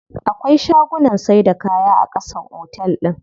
Akwai shagunnan saida kaya a ƙasan otel din.